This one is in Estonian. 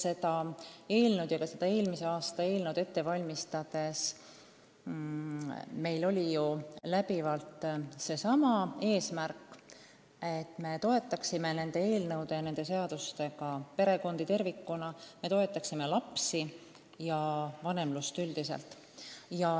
Seda eelnõu ja ka eelmise aasta eelnõu ette valmistades oli meie läbiv eesmärk toetada nende seadustega perekondi tervikuna – nii lapsi kui ka vanemlust üldiselt.